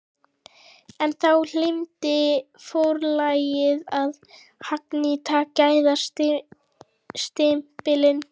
En þá gleymdi forlagið að hagnýta gæðastimpilinn!